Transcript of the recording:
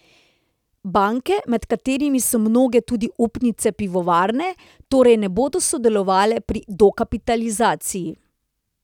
Banke, med katerimi so mnoge tudi upnice pivovarne, torej ne bodo sodelovale pri dokapitalizaciji.